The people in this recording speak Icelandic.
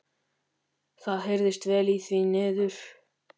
Það heyrðist vel í því niður.